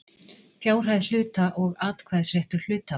Fjárhæð hluta og atkvæðisréttur hluthafa.